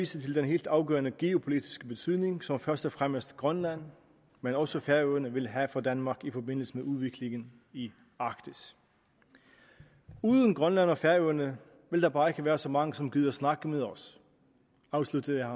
til den helt afgørende geopolitiske betydning som først og fremmest grønland men også færøerne vil have for danmark i forbindelse med udviklingen i arktis uden grønland og færøerne vil der bare ikke være så mange som gider at snakke med os afsluttede